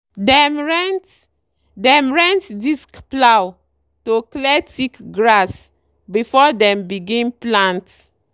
dem rent dem rent disc plough to clear thick grass before dem begin plant.